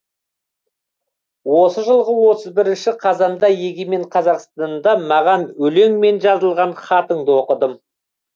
осы жылғы отыз бірінші қазанда егемен қазақстанда маған өлеңмен жазылған хатыңды оқыдым